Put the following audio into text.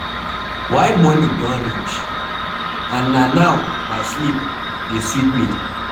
Why morning don reach? And na now my sleep dey sweet me.